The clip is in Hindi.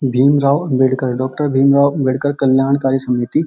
भीमराव अम्बेडकर डॉक्टर भीमराव अम्बेडकर कल्याणकारी समिति --